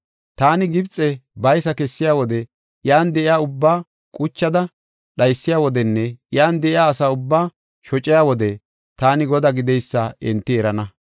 Taani Gibxe baysa kessiya wode iyan de7iya ubbaa quchada dhaysiya wodenne iyan de7iya asa ubbaa shociya wode taani Godaa gideysa enti erana.